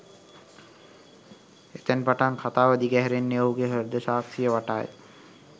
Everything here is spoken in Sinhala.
එතැන් පටන් කථාව දිග හැරෙන්නේ ඔහුගේ හෘද සාක්ෂිය වටාය